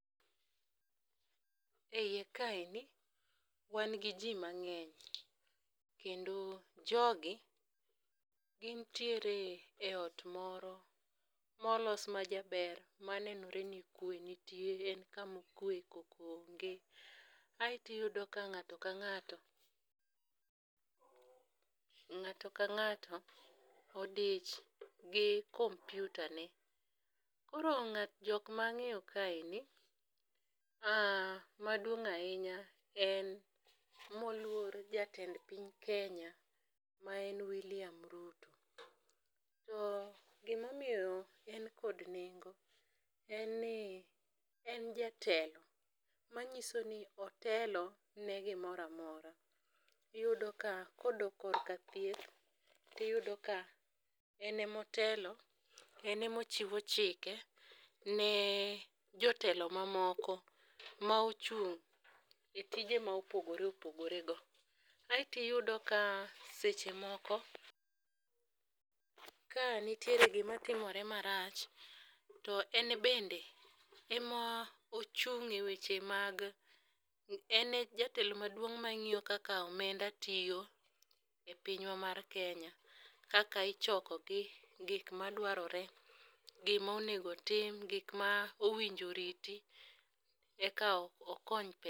E iye kaeni , wan gi jii mang'eny kendo jogi gin ntiere e ot moro molos majaber manenore ni kwe nitie e kamokwe koko onge .Aeto iyudo ka ngato ka ng'ato ng'ato ka ng'ato odich gi kompiuta ne. Koro ng'a jok mang'eyo kaeni , maduong' ahinya en moluor jatend piny kenya ma en wiliam Ruto. To gimomiyo en kod nengo, en ni en jatelo manyiso ni otelo ne gimoramora . Iyudo ka kodok korka thieth tiyudo ka en e motelo en emochiwa chike ne jotelo mamoko ma ochung' e tije ma opogore opogore go. Aeto iyudo ka seche moko ka nitiere gima timore marach to en bende ema ochung' e weche mag en e jatelo maduong' mang'iyo kaka omenda tiyo e pinywa mar kenya kaka ichoko gi, gik madwarore gimo nego tim gik mowinjo riti eka okony